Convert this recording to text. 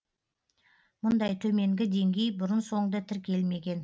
мұндай төменгі деңгей бұрын соңды тіркелмеген